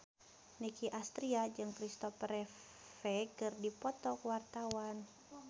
Nicky Astria jeung Christopher Reeve keur dipoto ku wartawan